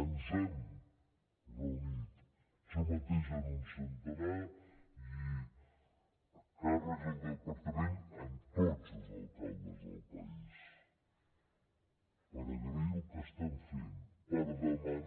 ens hem reunit jo mateix amb un centenar i càrrecs del departament amb tots els alcaldes del país per agrair los el que estan fent per demanar los